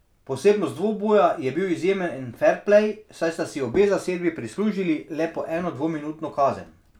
Posebnost dvoboja je bil izjemen ferplej, saj sta si obe zasedbi prislužili le po eno dvominutno kazen.